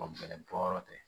bɔ yɔrɔ tɛ